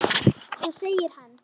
Svo segir hann